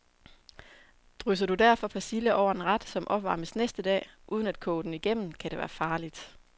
Drysser du derfor persille over en ret, som opvarmes næste dag, uden at koge den igennem, kan det være farligt.